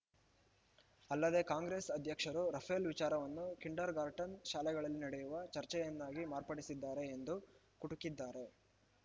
ಅಲ್ಲದೆ ಕಾಂಗ್ರೆಸ್‌ ಅಧ್ಯಕ್ಷರು ರಫೇಲ್‌ ವಿಚಾರವನ್ನು ಕಿಂಡರ್‌ಗಾರ್ಟನ್‌ ಶಾಲೆಗಳಲ್ಲಿ ನಡೆಯುವ ಚರ್ಚೆಯನ್ನಾಗಿ ಮಾರ್ಪಡಿಸಿದ್ದಾರೆ ಎಂದೂ ಕುಟುಕಿದ್ದಾರೆ